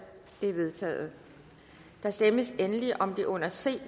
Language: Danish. det er vedtaget der stemmes endelig om det under c